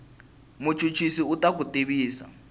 muchuchisi u ta ku tivisa